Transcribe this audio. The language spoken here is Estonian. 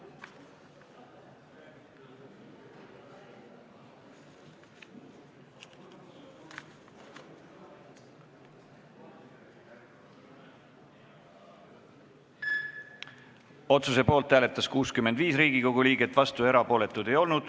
Hääletustulemused Otsuse poolt hääletas 65 Riigikogu liiget, vastuolijaid ja erapooletuid ei olnud.